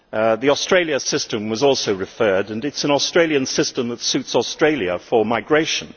The Australia system was also referred to and it is an Australian system that suits Australia for migration.